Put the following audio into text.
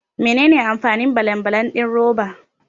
Menene amfanin balan balan din roba?